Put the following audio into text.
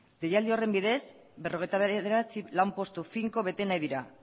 deialdi horren bidez berrogeita bederatzi lanpostu finko bete nahi dira